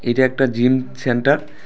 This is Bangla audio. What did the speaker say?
এটা একটা জিম সেন্টার ।